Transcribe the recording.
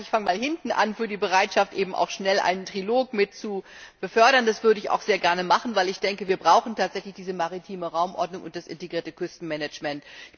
Ich fange mal hinten an bei der Bereitschaft, schnell einen Trilog mit zu befördern. Das würde ich auch sehr gerne machen, weil ich denke, wir brauchen tatsächlich diese maritime Raumordnung und das integrierte Küstenmanagement.